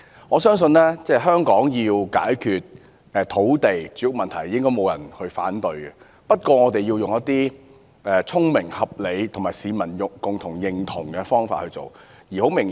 我相信應該不會有人反對香港需要解決土地和住屋問題，但我們應該以聰明、合理及市民共同認同的方法解決有問題。